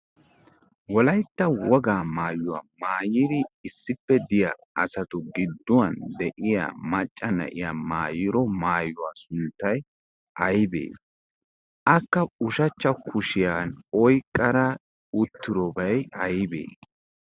wolaytta wogaa maayuwaa maayiri issippe diya asatu gidduwan de'iya macca na'iya maayiro maayuwaa sunttay aybee akka ushachcha kushiyan oyqqara utturobay aybee?